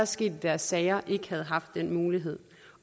sket i deres sager ikke har haft den mulighed